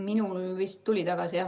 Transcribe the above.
Minul vist tuli tagasi.